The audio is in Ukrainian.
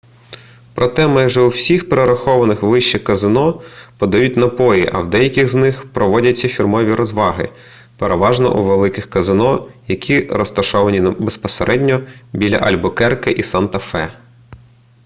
проте майже у всіх перерахованих вище казино подають напої а в деяких з них проводяться фірмові розваги переважно у великих казино які розташовані безпосередньо біля альбукерке і санта-фе